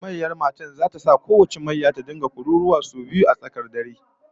Mayyar matan zata sa kowace mayyar a garin ta rika kururuwa sau biyu a tsakiyar dare